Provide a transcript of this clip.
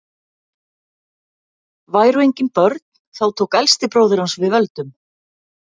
væru engin börn þá tók elsti bróðir hans við völdum